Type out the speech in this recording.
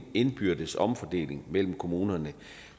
indbyrdes omfordeling mellem kommunerne